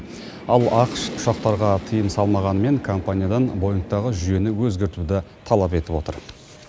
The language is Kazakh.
ал ақш ұшақтарға тыйым салмағанымен компаниядан боингтағы жүйені өзгертуді талап етіп отыр